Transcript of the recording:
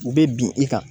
U bɛ bin i kan